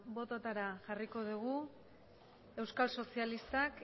botoetara jarriko dugu euskal sozialistak